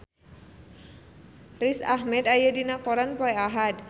Riz Ahmed aya dina koran poe Ahad